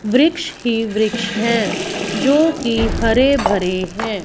वृक्ष ही वृक्ष है जोकि हरे भरे है।